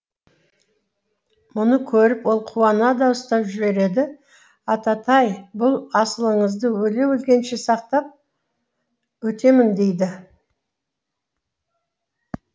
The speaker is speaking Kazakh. мұны көріп ол қуана дауыстап жібереді ататай бұл асылыңызды өле өлгенше сақтап өтемін дейді